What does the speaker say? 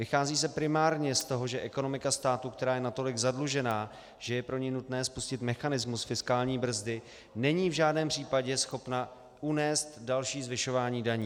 Vychází se primárně z toho, že ekonomika státu, která je natolik zadlužená, že je pro ni nutné spustit mechanismus fiskální brzdy, není v žádném případě schopna unést další zvyšování daní.